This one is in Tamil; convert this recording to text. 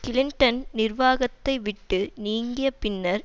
கிளின்டன் நிர்வாகத்தை விட்டு நீங்கிய பின்னர்